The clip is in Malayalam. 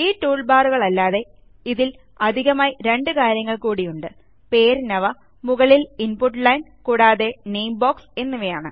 ഈ ടൂൾബാറുകളല്ലാതെ ഇതിൽ അധികമായി രണ്ട് കാര്യങ്ങൾ കൂടിയുണ്ട് പേരിനവ മുകളിൽ ഇൻപുട്ട് ലൈൻ കൂടാതെ നാമെ ബോക്സ് എന്നിവയാണ്